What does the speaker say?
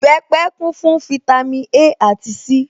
Ìbẹpẹ̀ kún fún fítámī A àti C